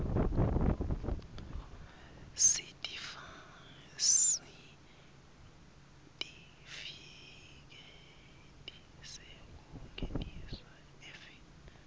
sitifiketi sekungenisa eveni